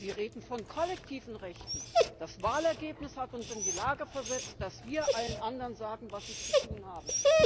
Sie reden von kollektiven Rechten Das Wahlergebnis hat uns in die Lage versetzt, dass wir allen anderen sagen, was sie zu tun haben.